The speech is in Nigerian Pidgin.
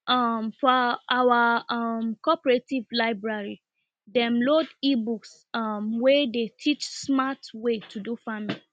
um for our um cooperative library dem load ebooks um wey dey teach smart way to do farming